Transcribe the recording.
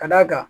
Ka d'a kan